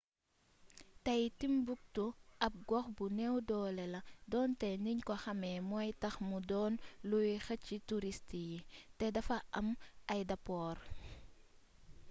tey timbuktu ab gox bu neew doole la donte niñ ko xàmee mooy tax mu doon luy xëcc turist yi te dafa am aydapoor